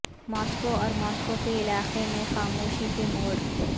Moscow اور Moscow کے علاقے میں خاموشی کے موڈ